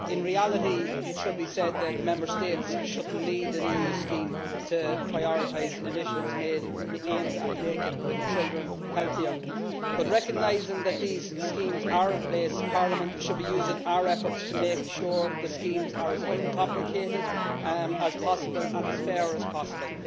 In reality, it should be said that Member States should not need an EU scheme to prioritise initiatives aimed at making children healthier but, recognising that these schemes are in place, Parliament should be using our efforts to make sure the schemes are as uncomplicated as possible and as fair as possible.